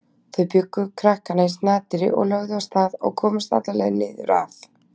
Þau bjuggu krakkana í snatri og lögðu af stað og komust alla leið niður að